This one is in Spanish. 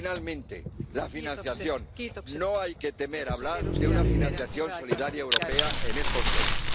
Y, finalmente, la financiación. No hay que temer hablar de una financiación solidaria europea en estos temas.